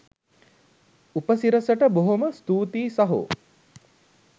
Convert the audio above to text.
උපසිරැසියට බොහොම ස්තූතියි සහෝ